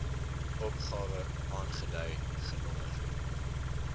opgawe aangedui genommer